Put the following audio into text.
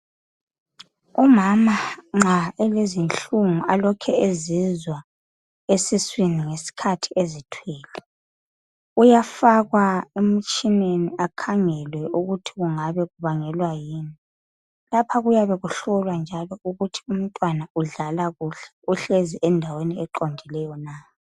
Umama nxa elezinhlungu alokhe ezizwa esiswini ngesikhathi ezithwele uyafakwa emtshineni akhangelwe ukuthi kungabe kubangelwa yini . Lapha kuyabe kuhlolwa ukuthi umntwana udlala kuhle. Uhlezi endaweni eqondileyo na.